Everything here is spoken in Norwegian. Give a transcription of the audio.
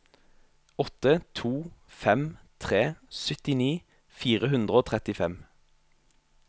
åtte to fem tre syttini fire hundre og trettifem